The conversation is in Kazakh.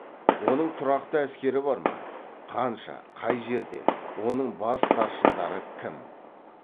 оның тұрақты әскері бар ма қанша қай жерде оның бас старшындары кім